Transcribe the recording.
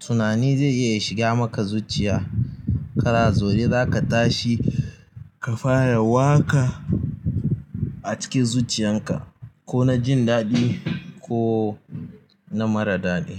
tunani zai iya shiga maka zuciya. Kana zaune za ka tashi ka fara waƙa a cikin zuciyarka, ko na jin daɗi ko na marar daɗi.